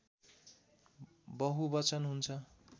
बहुवचन हुन्छ